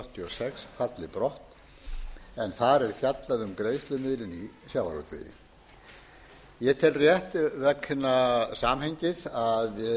sex falli brott en þar er fjallað um greiðslumiðlun í sjávarútvegi ég tel rétt vegna samhengis að gera hér í